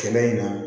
Kɛlɛ in na